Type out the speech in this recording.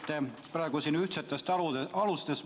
Te räägite ühtsetest alustest.